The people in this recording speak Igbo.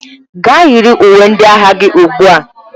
Gaa yiri uwe ndị agha gị ugbu a!